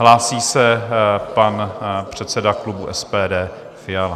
Hlásí se pan předseda klubu SPD Fiala.